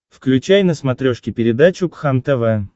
включай на смотрешке передачу кхлм тв